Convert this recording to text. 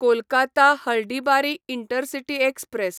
Kolkata Haldibari intercity express